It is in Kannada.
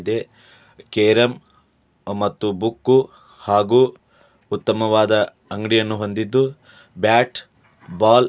ದೆ ಕೇರಂ ಮತ್ತು ಬುಕ್ ಹಾಗೂ ಉತ್ತಮವಾದ ಅಂಗಡಿಯನ್ನು ಹೊಂದಿದ್ದು ಬ್ಯಾಟ್ ಬಾಲ್ --